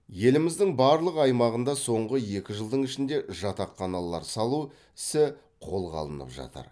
еліміздің барлық аймағында соңғы екі жылдың ішінде жатақханалар салу ісі қолға алынып жатыр